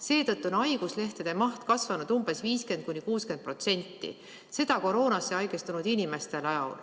Seetõttu on haiguslehtede maht kasvanud umbes 50–60%, seda koroonasse haigestunud inimeste tõttu.